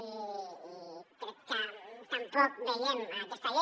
i crec que tampoc veiem aquesta llei